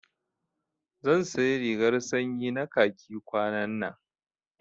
Zan sayi rigar sanyi na khaki kwanannan